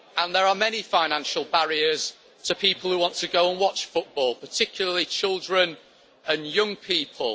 There are many financial barriers to people who want to go and watch football, particularly children and young people.